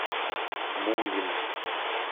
мулин